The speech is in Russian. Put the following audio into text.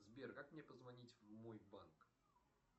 сбер как мне позвонить в мой банк